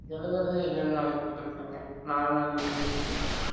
எழுதுறதே எழு நாளைக்கு குடுதுருக்காங்க நாலு நாள் leave குடுத்துட்டு